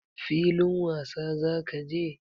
Filin wasa za ka je?